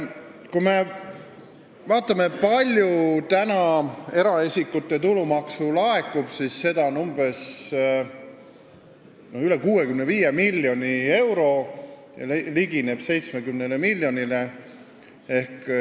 Kui me vaatame, kui palju eraisikutele tulumaksu tagasi laekub, siis seda on üle 65 miljoni euro, summa ligineb 70 miljonile.